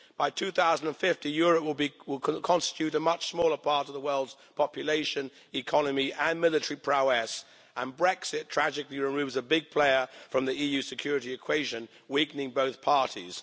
By 2050, Europe will constitute a much smaller part of the world's population, economy and military prowess, and Brexit tragically removes a big player from the EU security equation, weakening both parties.